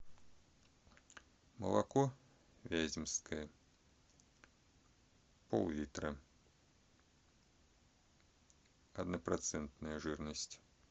молоко вяземское пол литра однопроцентная жирность